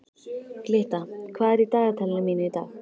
Glytta, hvað er í dagatalinu mínu í dag?